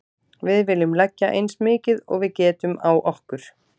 Við viljum leggja eins mikið og við getum á okkur.